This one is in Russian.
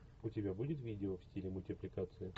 у тебя будет видео в стиле мультипликации